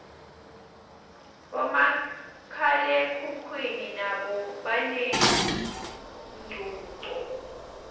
bomakhalekhukhwini nabo banencuco